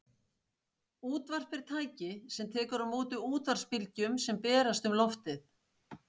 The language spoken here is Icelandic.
Útvarp er tæki sem tekur á móti útvarpsbylgjum sem berast um loftið.